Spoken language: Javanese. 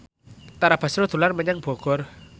Tara Basro dolan menyang Bogor